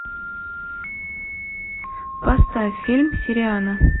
поставь фильм сириана